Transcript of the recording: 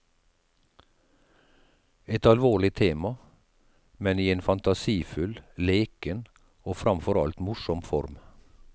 Et alvorlig tema, men i en fantasifull, leken og framfor alt morsom form.